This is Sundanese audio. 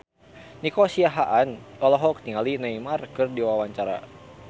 Nico Siahaan olohok ningali Neymar keur diwawancara